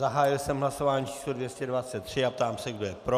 Zahájil jsem hlasování číslo 223 a ptám se, kdo je pro.